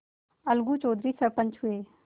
अलगू चौधरी सरपंच हुए